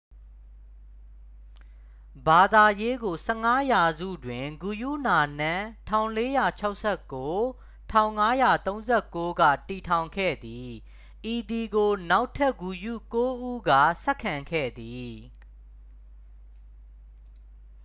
ဘာသာရေးကို ၁၅ ရာစုတွ် ဂုရုနာနက် ၁၄၆၉-၁၅၃၉ က တည်ထောင်ခဲ့သည်။ ဤသည်ကို နောက်ထပ်ဂုရု ကိုး ဦးက ဆက်ခံခဲ့သည်။